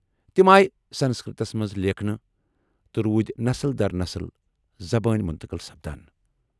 تمہ آیہ سنسکرتس منٛز لیکھنہٕ تہٕ روٗدۍ نسل در نسل زبٲنۍ منتقل سپدان۔